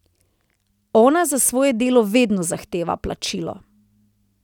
Ona za svoje delo vedno zahteva plačilo.